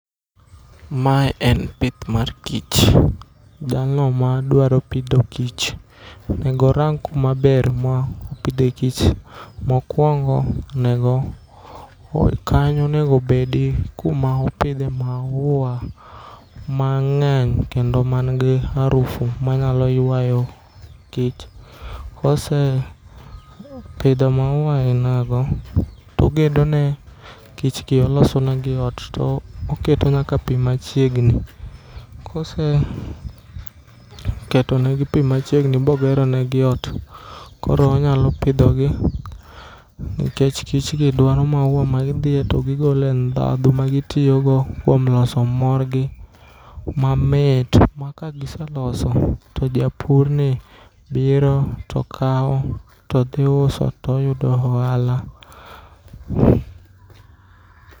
Mae en pith mar kich, jalno ma dwaro pidho kich, onego orang kuma ber ma opidhe kich. Mokwongo onego, kanyo onego bed kuma opidhe maua mang'eny kendo man gi arufu manyalo ywayo kich. Kose pidho maua e mago, togedo ne kich gi oloso negi ot. To oketo nyaka pi machiegni, kose keto negi pi machiegni mogero negi ot, koro onyalo pidho gi. Nikech kich gi dwaro maua ma gidhiye to gigole ndhadhu ma gitiyogo kuom loso morgi mamit. Ma ka giseloso, to japurni biro to kawo to dhi uso toyudo ohala.